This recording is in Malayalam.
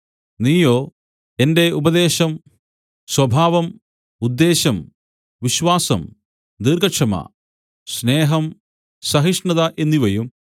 നീയോ എന്റെ ഉപദേശം സ്വഭാവം ഉദ്ദേശം വിശ്വാസം ദീർഘക്ഷമ സ്നേഹം സഹിഷ്ണത എന്നിവയും